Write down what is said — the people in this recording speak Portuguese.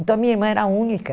Então, a minha irmã era a única...